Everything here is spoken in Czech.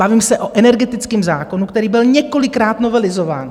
Bavím se o energetickém zákonu, který byl několikrát novelizován.